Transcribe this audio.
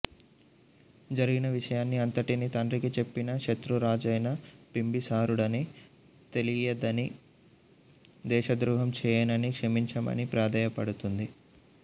జరిగిన విషయాన్ని అంతటినీ తండ్రికి చెప్పేసి శత్రురాజైన బింబిసారుడని తెలియదనీ దేశద్రోహం చేయననీ క్షమించమనీ ప్రాధేయపడుతుంది